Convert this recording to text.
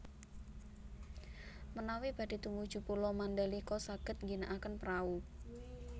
Menawi badhe tumuju Pulo Mandalika saged ngginakaken prahu